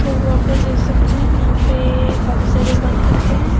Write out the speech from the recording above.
तो आपलोग देख सकते है यहां पे काफी सारे बत्तख है।